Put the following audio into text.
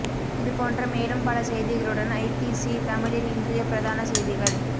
இதுபோன்ற மேலும் பல செய்திகளுடன் ஐபிசி தமிழின் இன்றைய பிரதான செய்திகள்